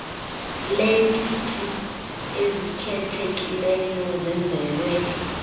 leetiti ezikhethekileyo zenzelwe